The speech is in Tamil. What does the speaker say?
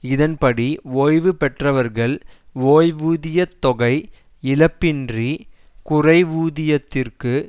இதன்படி ஓய்வு பெற்றவர்கள் ஓய்வூதிய தொகை இழப்பின்றி குறைவூதியத்திற்கு